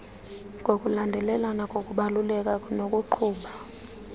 ngokulandelelana ngokubaluleka nokuqhuba